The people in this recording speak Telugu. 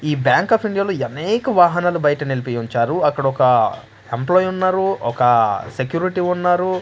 ఈ బ్యాంక్ ఆఫ్ ఇండియాలో అనేక వాహనాలు బయట నిలిపి ఉంచారు అక్కడొక ఎంప్లాయ్ ఉన్నారు ఒక సెక్యూరిటీ ఉన్నారు.